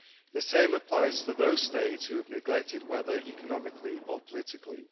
The same applies to those states we have neglected, whether economically or politically.